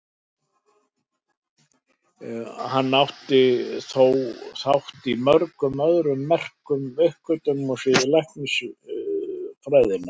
Hann átti þó þátt í mörgum öðrum merkum uppgötvunum á sviði læknisfræðinnar.